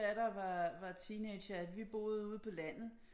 Datter var var teenager at vi boede ude på landet